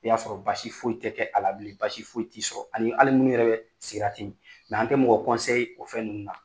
I y'a sɔrɔ basi foyi tɛ kɛ ala bilen, basi foyi tɛ i sɔrɔ ani hali minnu yɛrɛ bɛ sigarati min mɛ an tɛ mɔgɔ ol fɛn ninnu na.